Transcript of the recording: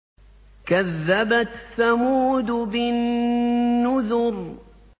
كَذَّبَتْ ثَمُودُ بِالنُّذُرِ